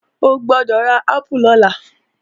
O gbọ́dọ̀ ra ápù lọ́la!